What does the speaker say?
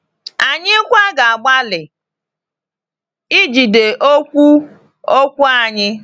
Anyị kwa ga-agbalị ijide okwu okwu anyị.